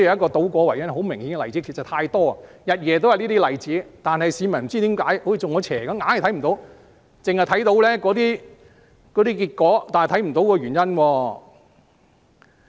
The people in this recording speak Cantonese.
這些例子實在太多，日夜也有這些例子，但不知為何市民仿如中邪般，就是看不到，他們只看到結果卻看不到原因。